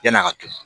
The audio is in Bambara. Yann'a ka tunu